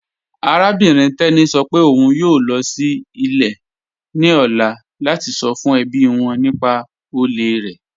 Arábìnrin Teni sọ́ pẹ̀ ọ̀un ń yoo lọ sí ilẹ̀ ni ọ̀lá lati sọ́ fún ẹbí wọn nípà òlè rẹ.